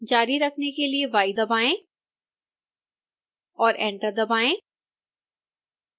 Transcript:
जारी रखने के लिए y दबाएं और एंटर दबाएं